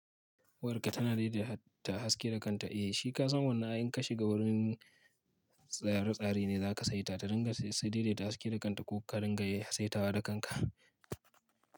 War ka tana daidaita haske da kanta. Eh shi ka san wannan ai in ka shiga wurin tsare tsare ne za ka saita ta ringa sai daidaita haske da kanta ko ka ringa ye saita wa da kanka.